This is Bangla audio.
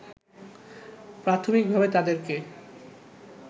প্রাথমিকভাবে তাদেরকে